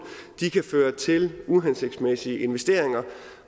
kan føre til uhensigtsmæssige investeringer